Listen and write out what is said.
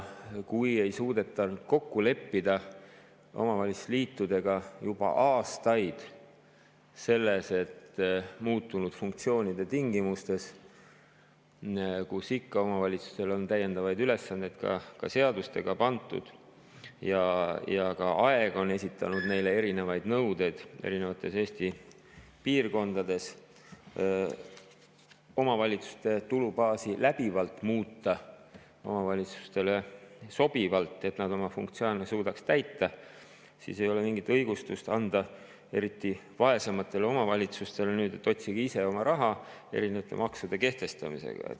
Kui ei ole juba aastaid suudetud omavalitsusliitudega kokku leppida selles, et muutunud funktsioonide tingimustes – omavalitsustele on täiendavaid ülesandeid seadustega pandud ja ka aeg on esitanud neile erinevaid nõudeid erinevates Eesti piirkondades – omavalitsuste tulubaasi läbivalt muuta omavalitsustele sobivalt, et nad oma funktsioone suudaks täita, siis ei ole mingit õigustust, eriti vaesematele omavalitsustele, et otsige ise raha erinevate maksude kehtestamisega.